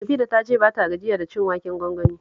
Mufida ta ce ba ta gajiya da cin waken gwangwani